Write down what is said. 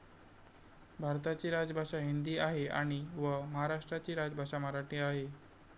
भारताची राजभाषा हिंदी आहे आणि व महाराष्ट्राची राजभाषा मराठी आहे.